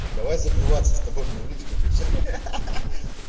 давай забиваться с тобой мне в личку пиши